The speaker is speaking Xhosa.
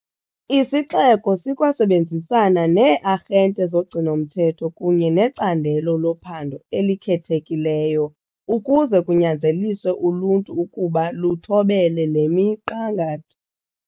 Isixeko sikwasebenzisana nee-arhente zogcino-mthetho kunye neCandelo loPhando eliKhethekileyo ukuze kunyanzeliswe uluntu ukuba lithobele le miqangatho.